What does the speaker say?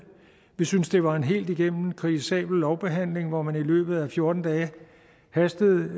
vi synes det var en helt igennem kritisabel lovbehandling hvor man i løbet af fjorten dage hastede